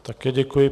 Také děkuji.